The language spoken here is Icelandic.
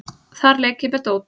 Þar leik ég með dót.